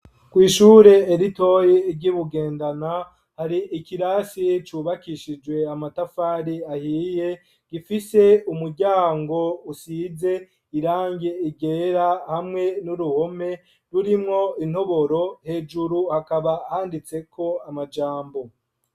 Kw'ishure ritoya ry'ibugendana hari ikirasi cubakishijwe amatafari ahiye gifise umuryango usize irange ryera hamwe n'uruhome rurimwo intoboro hejuru hakaba handitseko amajambo.